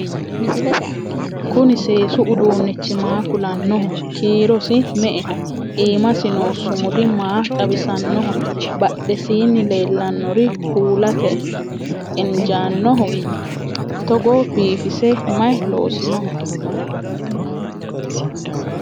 kuni seesu uduunichi maa kulannoho? kiirosi me"eho? iimasi noo sumudi maa xawisannoho? badhesiini leellannori kultae injaanoho? togo biifise maye loosinoho?